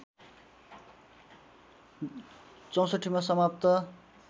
६४ मा समाप्त